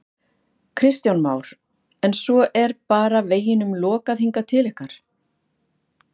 Kristján Már: En svo er bara veginum lokað hingað til ykkar?